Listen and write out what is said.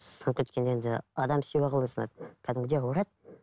сынып кеткенде енді адам сүйегі қалай сынады кәдімгідей ауырады